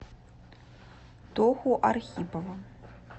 тоху архипова